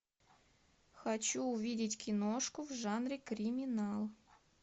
хочу увидеть киношку в жанре криминал